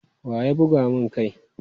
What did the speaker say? Wa ya buga mun kai?